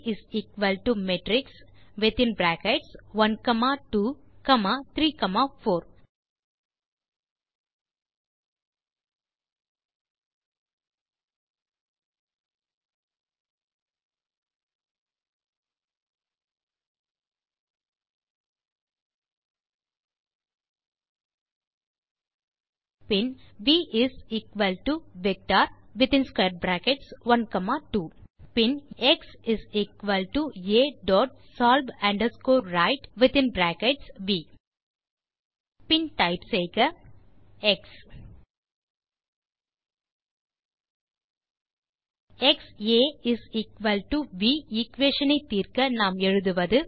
Amatrix of within brackets 12 comma 34 பின் v is equal to vector12 பின் xA dot solve underscore right பின் type செய்க பின் type செய்க எக்ஸ் க்ஸா வி எக்வேஷன் ஐ தீர்க்க நாம் எழுதுவது